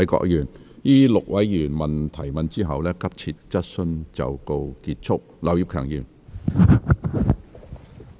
在這6位議員提問後，急切質詢環節即告結束。